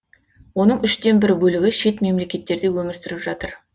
оның үштен бір бөлігі шет мемлекеттерде өмір сүріп жатыр